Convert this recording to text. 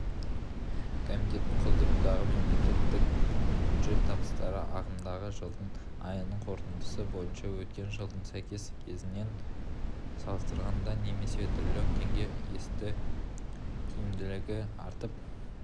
комитеттің құзырындағы мемлекеттік бюджет табыстары ағымдағы жылдың айының қорытындысы бойынша өткен жылдың сәйкес кезеңімен салыстырғанда немесе трлн теңгеге өсті тиімділігі артып